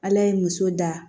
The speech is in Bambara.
Ala ye muso da